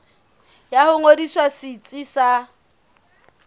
ya ho ngodisa setsi sa